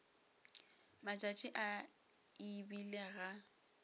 matšatši a e bile ga